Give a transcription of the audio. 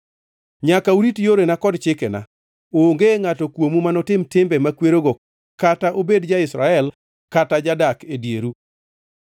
To nyaka urit yorena kod chikena. Onge ngʼato kuomu manotim timbe makwerogo kata obed ja-Israel kata jadak e dieru,